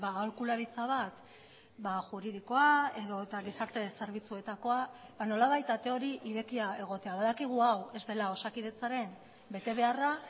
aholkularitza bat juridikoa edota gizarte zerbitzuetakoa nolabait ate hori irekia egotea badakigu hau ez dela osakidetzaren betebeharra